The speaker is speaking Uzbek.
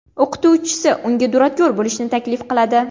O‘qituvchisi unga duradgor bo‘lishni taklif qiladi.